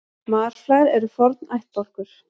Marflær eru forn ættbálkur.